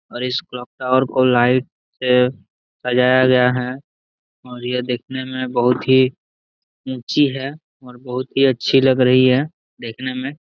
और इस clock tower को लाइट से सजाया गया है और यह देखने में बहुत ही ऊंची है और बहुत ही अच्छी लग रही है देखने में ।